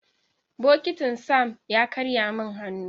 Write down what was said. Bokitin Sam ya karye min hannu.